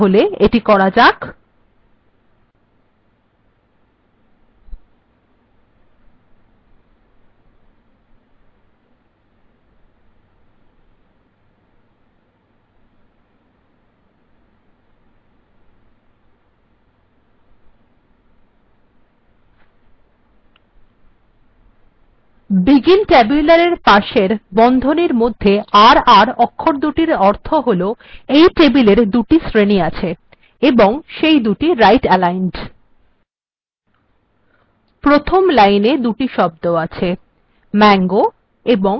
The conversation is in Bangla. তাহলে এখানে এটি করা যাক begin tabular এর পাশের বন্ধনীর মধ্যে r r অক্ষরদুটির অর্থ হল এই টেবিলএর দুটি শ্রেণী আছে এবং সেই দুটি right aligned প্রথম লাইনে দুটি শব্দ আছে mango এবং mixed